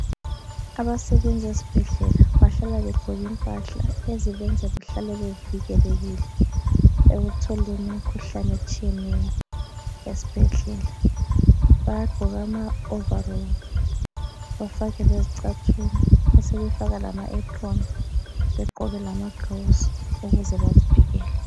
Abasebenza ezibhedlela bahlala begqoke impahla ezibenza behlale bevikelekile ekutholeni imikhuhlane etshiyeneyo esibhedlela. Bayagqoka ama overalls, bafake lezicathulo besebefaka lama apron, begqoke lama gloves ukuzwa bazivikele.